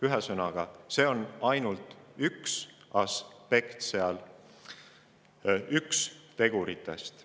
Ühesõnaga, tehnoloogia on ainult üks aspekt, üks teguritest.